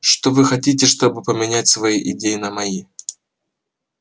что вы хотите чтобы поменять свои идеи на мои